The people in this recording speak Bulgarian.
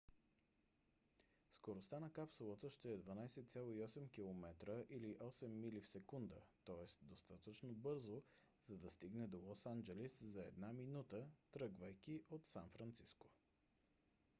скоростта на капсулата ще е 12,8 км или 8 мили в секунда тоест достатъчно бързо за да стигне до лос анджелис за една минута тръгвайки от сан франциско